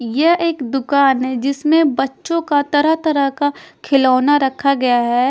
यह एक दुकान है जिसमें बच्चों का तरह-तरह का खिलौना रखा गया है।